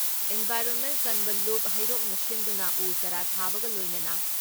environment ꯀꯟꯕ ꯂꯨꯞ ꯍꯩꯔꯣꯛꯅ ꯁꯤꯟꯗꯨꯅ ꯎ ꯆꯥꯔꯥ ꯊꯥꯕꯒ ꯂꯣꯏꯅꯅ